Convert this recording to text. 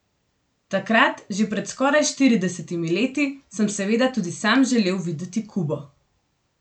Takrat, že pred skoraj štiridesetimi leti, sem seveda tudi sam želel videti Kubo.